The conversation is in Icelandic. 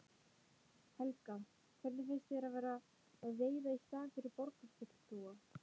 Helga: Hvernig finnst þér að vera að veiða í staðinn fyrir borgarfulltrúa?